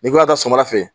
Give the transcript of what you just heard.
N'i ko ka taa sɔgɔmada fɛ